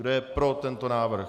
Kdo je pro tento návrh?